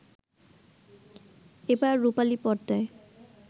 এবার রূপালী পর্দায়